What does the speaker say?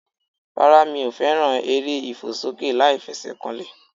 Rárá mi ò fẹ́ràn eré ìfòsókè láìfesèkanlè